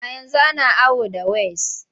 A yanzu ana awo da ways.